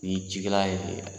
Ni cikɛla ye